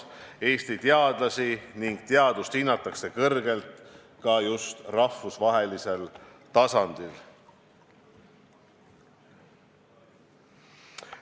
Eesti teadlasi ja teadust hinnatakse kõrgelt ka rahvusvahelisel tasemel.